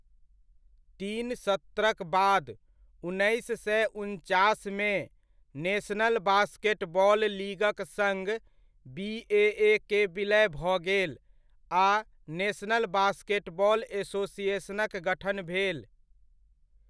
तीन सत्रक बाद, उन्नैस सए उनचासमे, नेशनल बास्केटबॉल लीगक सङ्ग बीएए के विलय भऽ गेल आ नेशनल बास्केटबॉल एसोसिएशनक गठन भेल।